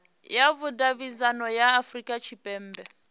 ya vhudavhidzano ya afurika tshipembe